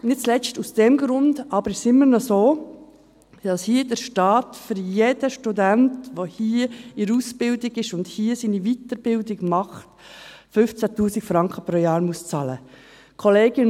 Nicht zuletzt aus diesem Grund aber, ist es immer noch so, dass der Staat für jeden Studenten, der hier in Ausbildung ist und hier seine Weiterbildung macht, 15 000 Franken pro Jahr bezahlen muss.